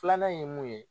Filanan ye mun ye